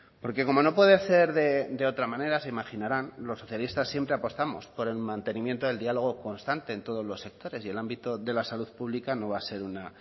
porque como no puede ser de otra manera se imaginarán los socialistas siempre apostamos por el mantenimiento del diálogo constante en todos los sectores y el ámbito de la salud pública no va a ser una